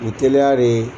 U ye teliya de